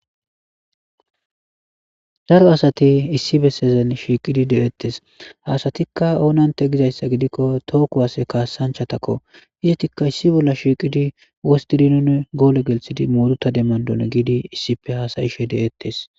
Daro asati issi bessezen shiiqidi de7ettes haasatikka oonante gizayssa gidikko too kuwase kaassanchatakko isatikka issi bolla shiiqidi wostidi goole gelsidi muruta demmandon giidi issipe haasayishe de7ettes.